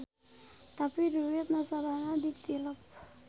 Tapi duit nasabahna ditilep.